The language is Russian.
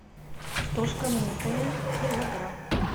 картошка мытая килограмм